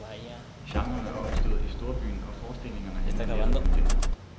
Genren er opstået i storbyen, og forestillingerne handler netop om den.